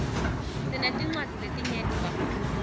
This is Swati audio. sinetincwadzi letinyeti kakhulu